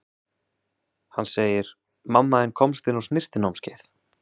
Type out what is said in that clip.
Hann segir: Mamma þín komst inn á snyrtinámskeið.